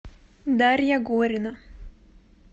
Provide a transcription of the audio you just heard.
дарья горина